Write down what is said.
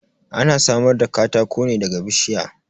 Ana samar da katako ne daga bishiya.